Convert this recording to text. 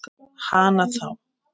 Hana þá.